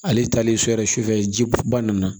Ale taalen so yɛrɛ sufɛ ji ba nana